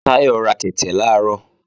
Táyọ̀ ra tẹ̀tẹ̀ làárọ̀